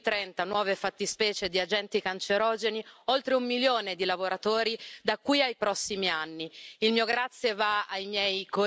Abbiamo tutelato, inserendo più di trenta nuove fattispecie di agenti cancerogeni, oltre un milione di lavoratori da qui ai prossimi anni.